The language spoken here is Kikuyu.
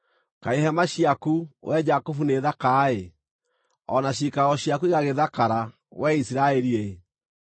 “Kaĩ hema ciaku, wee Jakubu, nĩ thaka-ĩ, o na ciikaro ciaku igagĩthakara, wee Isiraeli-ĩ!